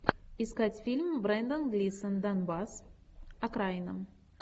искать фильм брендан глисон донбасс окраина